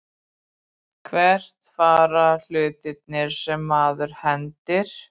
Hvert fara hlutirnir sem maður hendir?